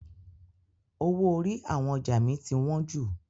Owó orí àwọn ọjà mi ti wọn jù.